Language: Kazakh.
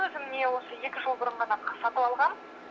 өзім міне осы екі жыл бұрын ғана сатып алғам